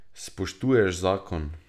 Spoštuješ zakon.